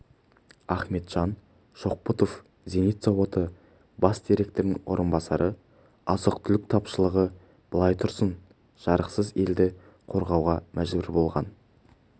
ахметжан шоқбұтов зенит зауыты бас директорының орынбасары азық-түлік тапшылығы былай тұрсын жарықсыз елді қорғауға мәжбүр болған